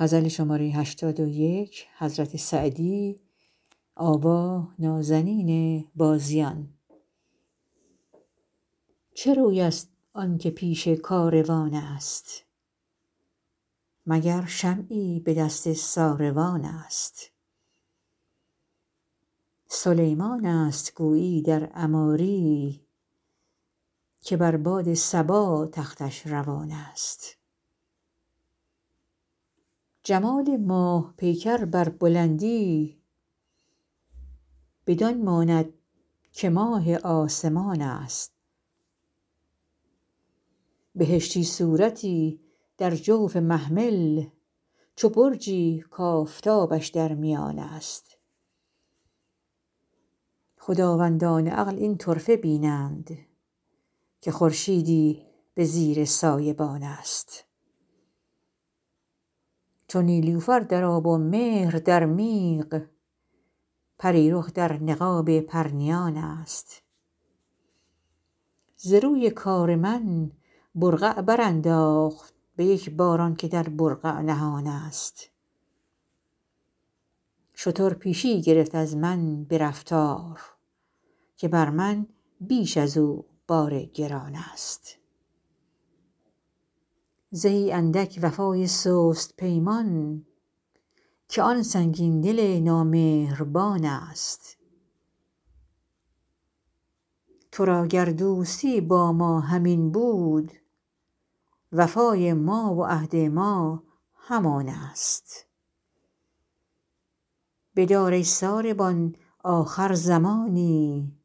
چه روی است آن که پیش کاروان است مگر شمعی به دست ساروان است سلیمان است گویی در عماری که بر باد صبا تختش روان است جمال ماه پیکر بر بلندی بدان ماند که ماه آسمان است بهشتی صورتی در جوف محمل چو برجی کآفتابش در میان است خداوندان عقل این طرفه بینند که خورشیدی به زیر سایبان است چو نیلوفر در آب و مهر در میغ پری رخ در نقاب پرنیان است ز روی کار من برقع برانداخت به یک بار آن که در برقع نهان است شتر پیشی گرفت از من به رفتار که بر من بیش از او بار گران است زهی اندک وفای سست پیمان که آن سنگین دل نامهربان است تو را گر دوستی با ما همین بود وفای ما و عهد ما همان است بدار ای ساربان آخر زمانی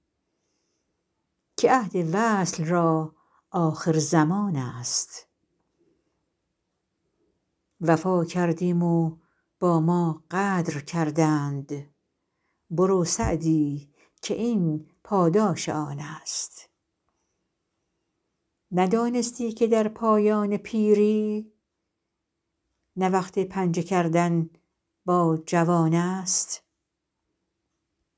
که عهد وصل را آخرزمان است وفا کردیم و با ما غدر کردند برو سعدی که این پاداش آن است ندانستی که در پایان پیری نه وقت پنجه کردن با جوان است